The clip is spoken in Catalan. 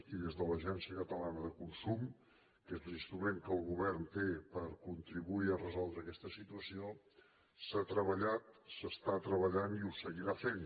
i des de l’agència catalana de consum que és l’instrument que el govern té per contribuir a resoldre aquesta situació s’ha treballat s’està treballant i ho seguirà fent